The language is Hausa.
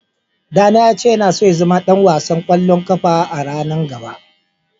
Yaro na ya ce yana so ya zama dan wasan kwallon kafa a'ranan gaba.